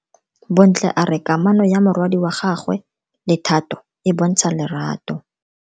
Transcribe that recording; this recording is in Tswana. Bontle a re kamano ya morwadi wa gagwe le Thato e bontsha lerato.